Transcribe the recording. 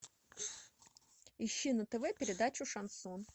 ищи на тв передачу шансон